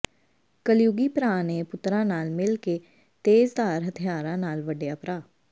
ਕਲਯੁਗੀ ਭਰਾ ਨੇ ਪੁੱਤਰਾਂ ਨਾਲ ਮਿਲ ਕੇ ਤੇਜ਼ਧਾਰ ਹਥਿਆਰਾਂ ਨਾਲ ਵੱਢਿਆ ਭਰਾ